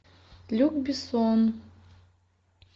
люк бессон